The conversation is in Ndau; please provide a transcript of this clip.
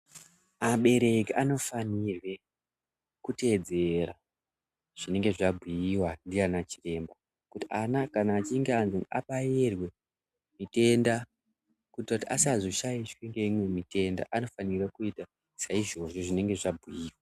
Abereki anofanirye kunge echiteedzera zvinenge zvabhuyiwa ndiana chiremba kuti ana kana antu achinge abayirwa mitenda kuitira kuti asazoshatirwa neimwe mitenda anofanira kuita saizvozvo zvinenge zvabhuyiwa.